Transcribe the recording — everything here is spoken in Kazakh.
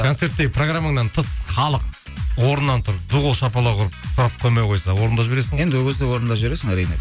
концертте программаңнан тыс халық орнынан тұрып ду қол шапалақ ұрып сұрап қоймай қойса орындап жібересің енді ол кезде орындап жібересің әрине